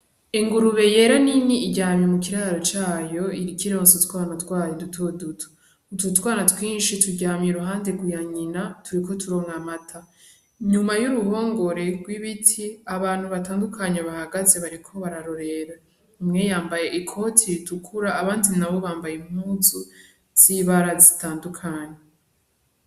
Engurube yera ni ni iryamye mu kiraro cayo irikironso twana twayo idutoduta gututwana twinshi turyamya uruhande guyanyina turiko turomwa mata inyuma y'uruhongore rw'ibiti abantu batandukanya bahagaze bariko bararorera umweyambaye i koti ridukura abandi na bo bambaye impuzu zibara zitandukanya.